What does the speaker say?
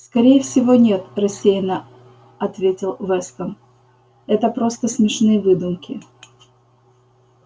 скорее всего нет рассеянно ответил вестон это просто смешные выдумки